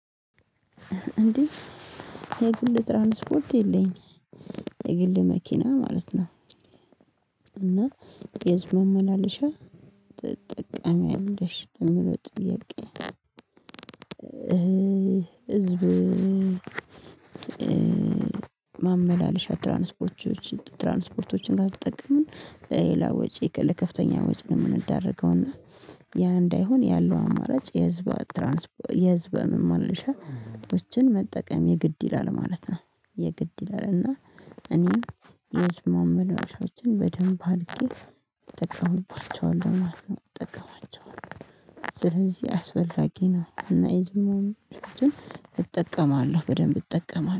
እንዴ የግል ትራንስፖርት የለኝም የግል መኪና ማለት ነው። እና የህዝብ ማመላለሻ ትጠቀሚያለሽ የምለው ጥያቄ? ህዝብ ማመላለሻ ትራንስፖርቶችን ትራንስፖርቶችን ካልተጠቀሙን በሌላ ወጪ ለከፍተኛ ወጪ ነው የምንደረገው እና ያ እንዳይሆን ያለው አማራጭ የህዝብ ትራንስፖርት የህዝብ ማመላለሻዎችን መጠቀም የግድ ይላል ማለት ነው። የግድ ይላል እና እኔም የህዝብ ማመላለሻዎችን በደንብ አድርጌ እጠቀምባቸዋለሁ ማለት ነው እጠቀማቸዋለሁ። ስለዚህ አስፈላጊ ነው እና የህዝብ ማመላለሻዎችን እጠቀማለሁ በደንብ እጠቀማለሁ